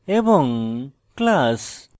class class